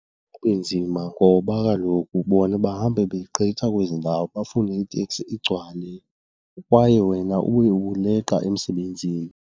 Kunzima ngoba kaloku bona bahambe begqitha kwezi ndawo bafune iteksi igcwale kwaye wena ube uleqa emsebenzini.